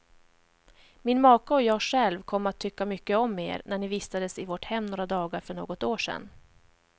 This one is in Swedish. Min maka och jag själv kom att tycka mycket om er, när ni vistades i vårt hem några veckor för något år sedan.